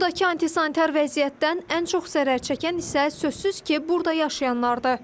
Burdakı antisanitar vəziyyətdən ən çox zərər çəkən isə sözsüz ki, burada yaşayanlardır.